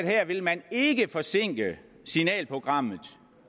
her vil man ikke forsinke signalprogrammet